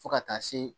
Fo ka taa se